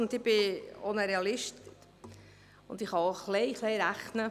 Ich bin Realistin und kann auch ein klein wenig rechnen.